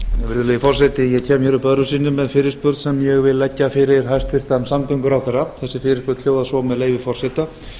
virðulegi forseti ég kem hér öðru sinni með fyrirspurn sem ég vil leggja fyrir hæstvirtan samgönguráðherra þessi fyrirspurn hljóðar svo með leyfi forseta